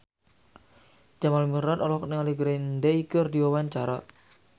Jamal Mirdad olohok ningali Green Day keur diwawancara